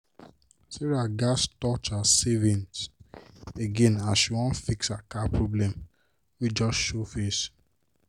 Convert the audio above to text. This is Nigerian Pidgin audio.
sarah gats touch her savings again as she wan fix her car problem wey just show face.